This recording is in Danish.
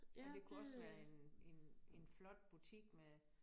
Og det kunne også være en en en flot butik med